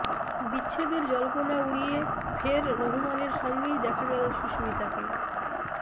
বিচ্ছেদের জল্পনা উড়িয়ে ফের রোহমানের সঙ্গেই দেখা গেল সুস্মিতাকে